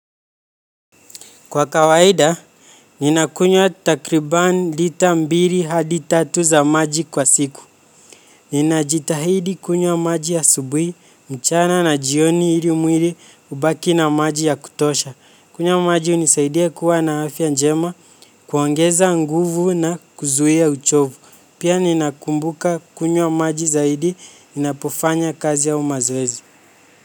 Kwa kawaida, ninakunywa takriban lita mbili hadi tatu za maji kwa siku. Ninajitahidi kunywa maji asubuhi, mchana na jioni ili mwili ubaki na maji ya kutosha. Kunywa maji hunisaidia kuwa na afya njema, kuongeza nguvu na kuzuia uchovu. Pia ninakumbuka kunywa maji zaidi, ninapofanya kazi au mazoezi.